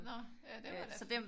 Nå ja det var da